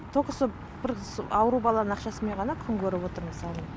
только сол ауру баланың ақшасымен ғана күн көріп отырмыз мысалы